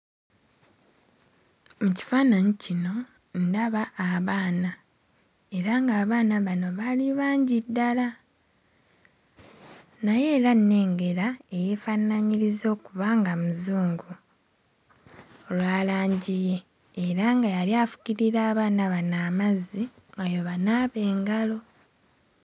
Mu kifaananyi kino ndaba abaana era ng'abaana bano baali bangi ddala. Naye era nnengera eyeefaanaanyiriza okuba nga Muzungu olwa langi ye era nga yali afukirira abaana bano amazzi nga bwe banaaba engalo.